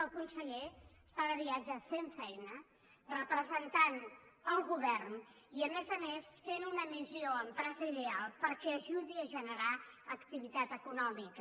el conseller està de viatge fent feina representant el govern i a més a més fent una missió empresarial perquè ajudi a generar activitat econòmica